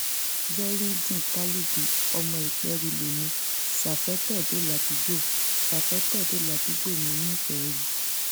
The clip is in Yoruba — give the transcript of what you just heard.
veryideen talubi ọmọ ìperú lèmi safetedo ládùúgbò safetedo ládùúgbò mi nìperu